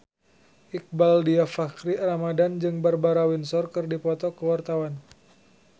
Iqbaal Dhiafakhri Ramadhan jeung Barbara Windsor keur dipoto ku wartawan